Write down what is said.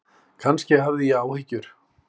Kannski hafði ég áhyggjur.